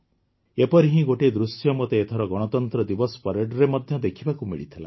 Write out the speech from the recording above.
ଏପରି ହିଁ ଗୋଟିଏ ଦୃଶ୍ୟ ମୋତେ ଏଥର ଗଣତନ୍ତ୍ର ଦିବସ ପରେଡରେ ମଧ୍ୟ ଦେଖିବାକୁ ମିଳିଥିଲା